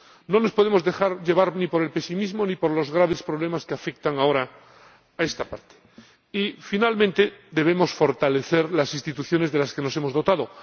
No nos podemos dejar llevar ni por el pesimismo ni por los graves problemas que afectan ahora a estas regiones vecinas. Finalmente, debemos fortalecer las instituciones de las que nos hemos dotado.